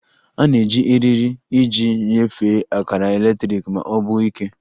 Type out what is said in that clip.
A na-eji eriri iji nyefee akara eletrik ma ọ bụ ike